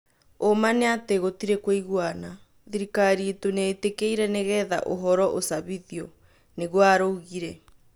"ũma nĩ atĩ gũtirĩ kũigũana" thirikari ĩtu nĩ ĩtikirĩ nĩgetha ũhoro ũcabithio," nigũo araugire